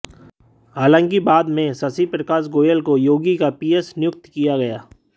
हालांकि बाद में शशि प्रकाश गोयल को योगी का पीएस नियुक्त किया गया